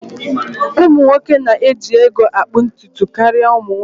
Ụmụ nwoke na-eji ego akpụ ntutu karịa ụmụ nwanyị